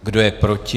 Kdo je proti?